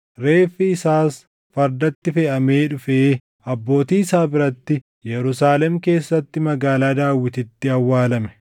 Reeffi isaas fardatti feʼamee dhufee abbootii isaa biratti Yerusaalem keessatti Magaalaa Daawititti awwaalame.